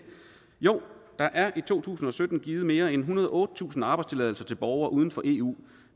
der er i to tusind og sytten givet mere end ethundrede og ottetusind arbejdstilladelser til borgere uden for eu